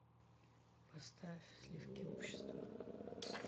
поставь сливки общества